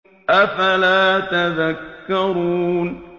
أَفَلَا تَذَكَّرُونَ